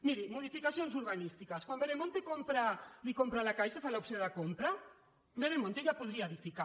miri modificacions urbanístiques quan veremonte li compra a la caixa fa l’opció de compra veremonte ja podria edificar